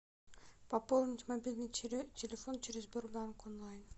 пополнить мобильный телефон через сбербанк онлайн